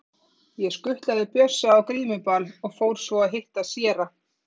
Ég skutlaði Bjössa á grímuball og fór svo að hitta séra